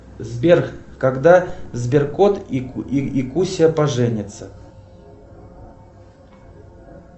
сбер когда сберкот и куся поженятся